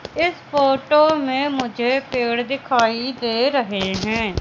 इस फोटो में मुझे पेड़ दिखाई दे रहें हैं।